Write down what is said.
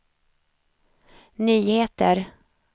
nyheter